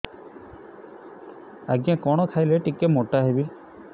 ଆଜ୍ଞା କଣ୍ ଖାଇଲେ ଟିକିଏ ମୋଟା ହେବି